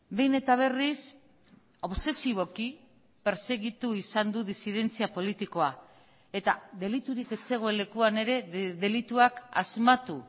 behin eta berriz obsesiboki pertsegitu izan du disidentzia politikoa eta deliturik ez zegoen lekuan ere delituak asmatu